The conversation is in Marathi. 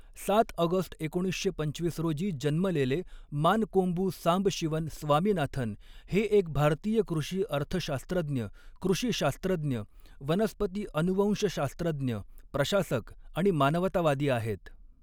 सात ऑगस्ट एकोणीसशे पंचवीस रोजी जन्मलेले मानकोंबू सांबशिवन स्वामीनाथन हे एक भारतीय कृषी अर्थशास्त्रज्ञ, कृषी शास्त्रज्ञ, वनस्पती अनुवंशशास्त्रज्ञ, प्रशासक आणि मानवतावादी आहेत.